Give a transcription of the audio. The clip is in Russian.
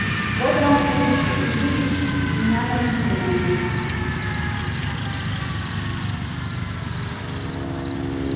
вот вам случай увидеть меня наедине